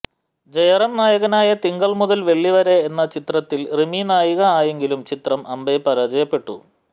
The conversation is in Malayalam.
ജയറാം നായകനായ തിങ്കൾ മുതൽ വെള്ളി വരെ എന്ന ചിത്രത്തിൽ റിമി നായിക ആയെങ്കിലും ചിത്രം അമ്പേ പരാജയപ്പെട്ടു